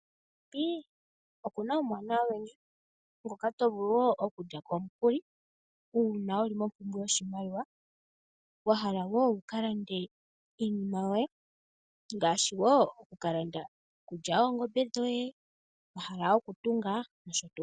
FNB oku na omauwanawa ogendji ngoka to vulu wo oku lyako omukuli uuna wuli kompumbwe yoshimaliwa wa hala woo wuka lande iinima yoye ngaashi wo oku ka landa iikulya yoongombe dhoye wa hala oku tunga nosho tuu.